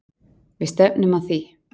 Við stefnum að því.